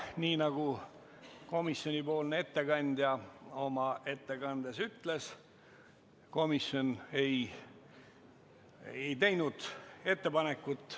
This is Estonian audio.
Nii nagu komisjoni ettekandja oma ettekandes ütles, komisjon ei teinud ettepanekut.